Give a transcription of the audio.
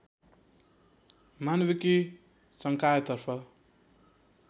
मानविकी सङ्कायतर्फ